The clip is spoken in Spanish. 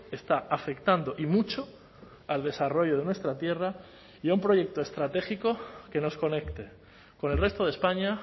está afectando y mucho al desarrollo de nuestra tierra y a un proyecto estratégico que nos conecte con el resto de españa